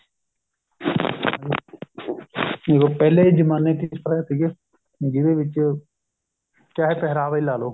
ਦੇਖੋ ਪਹਿਲੇ ਜਮਾਨੇ ਵਿੱਚ ਕਿਸ ਤਰ੍ਹਾਂ ਦੇ ਸੀਗੇ ਜਿਹਦੇ ਵਿੱਚ ਚਾਹੇ ਪਹਿਰਾਵਾ ਹੀ ਲਾਲੋ